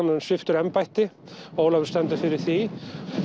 sviptur embætti Ólafur stendur fyrir því